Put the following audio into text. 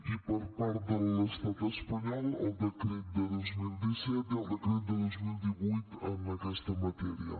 i per part de l’estat espanyol el decret de dos mil disset i el decret de dos mil divuit en aquesta matèria